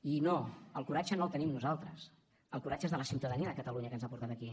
i no el coratge no el tenim nosaltres el coratge és de la ciutadania de catalunya que ens ha portat aquí